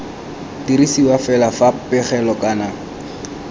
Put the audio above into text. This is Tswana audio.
dirisiwa fela fa pegelo kana